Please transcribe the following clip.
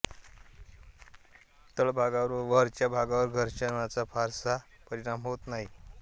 तळभागावर व वरच्या भागावर घर्षणाचा फारसा परिणाम होत नाही